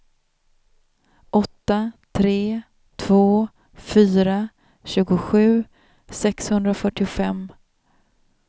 åtta tre två fyra tjugosju sexhundrafyrtiofem